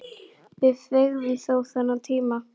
Við fengum þó þennan tíma.